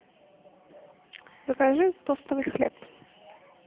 закажи тостовый хлеб